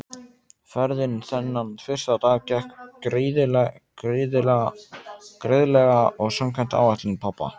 Ferðin þennan fyrsta dag gekk greiðlega og samkvæmt áætlun pabba.